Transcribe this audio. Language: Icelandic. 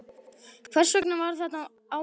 Hvers vegna var þetta á mig lagt?